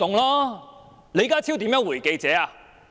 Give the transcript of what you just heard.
李家超如何回應記者？